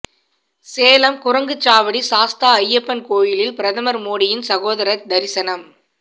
சேலம் குரங்குச்சாவடி சாஸ்தா ஐயப்பன் கோயிலில் பிரதமர் மோடியின் சகோதரர் தரிசனம்